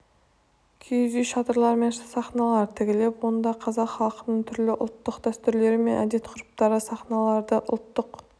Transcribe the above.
киіз үй шатырлар мен сахналар тігіліп онда қазақ халқының түрлі ұлттық дәстүрлері мен әдет-ғұрыптары сахналанды ұлттық